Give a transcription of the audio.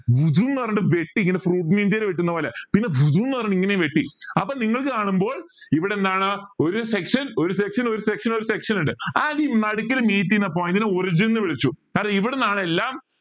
പറഞ്ഞ് വെട്ടി ഇങ്ങനെ fruit ninja യിൽ വെട്ടുന്ന പോലെ പിന്നെ പറഞ്ഞ് ഇങ്ങനെയും വെട്ടി അപ്പൊ നിങ്ങൾക്ക് കാണുമ്പോൾ ഇവിടെ എന്താണ് ഒരു section ഒരു section ഒരു section ഒരു section ഇണ്ട് അതീ നടുക്കിൽ meet ചെയുന്ന point നെ origin ന്ന് വിളിച്ചു കാരണം ഇവിടുന്നാണ് എല്ലാം